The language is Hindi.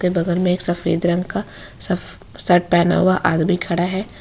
बगल में एक सफेद रंग का सफ़ शर्ट पहना हुआ आदमी खड़ा है।